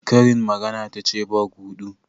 Karin magana tace ba guɗu?